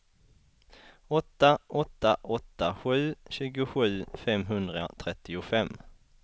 åtta åtta åtta sju tjugosju femhundratrettiofem